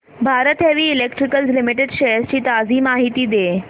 Bharat heavy electricals limited shares ची ताजी माहिती दे